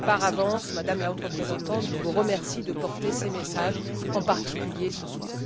Par avance, Madame la Haute représentante, je vous remercie de porter ces messages, en particulier ce soir.